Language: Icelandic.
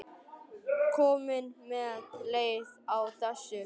Jóhannes: Komin með leið á þessu?